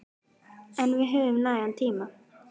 En við höfum nægan tíma.